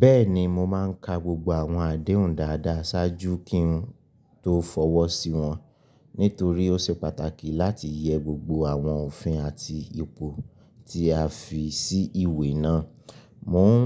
Bẹ́ẹ̀ni, mo máa ń ka gbogbo àwọn àdéhùn dáadáa ṣáájú kí n tó fọwọ́ sí wọn, nítorí ó oṣe pàtàkì láti yẹ gbogbo àwọn òfin àti ipò tí a fi sí ìwé náà. Mo ń